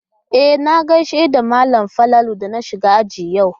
E, na gaishe da malam Falalu da na shigo aji yau.